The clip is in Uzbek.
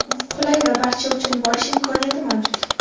Qulay va barcha uchun borish imkoniyati mavjud.